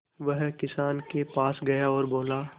वह किसान के पास गया और बोला